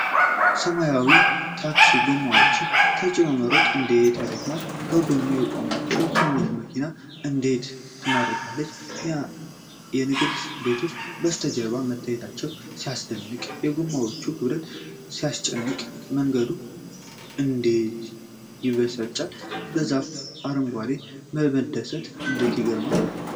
ሰማያዊው ታክሲ ጐማዎችን ተጭኖ መሮጡ እንዴት ያደክማል! በጐን የቆመችው ትንሽ መኪና እንዴት ትማርካለች! የንግድ ቤቶች ከበስተጀርባ መታየታቸው ሲያስደንቅ! የጎማዎቹ ክብደት ሲያስጨንቅ! መንገዱ እንዴት ይበሳጫል! በዛፉ አረንጓዴነት መደሰት እንዴት ይገርማል!